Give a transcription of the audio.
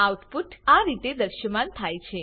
output આ રીતે દશ્યમાન થયા છે